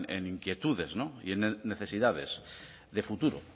en inquietudes y en necesidades de futuro